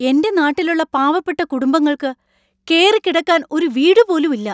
എൻ്റെ നാട്ടിലുള്ള പാവപ്പെട്ട കുടുംബങ്ങൾക്ക് കേറിക്കിടക്കാൻ ഒരു വീടുപോലും ഇല്ല.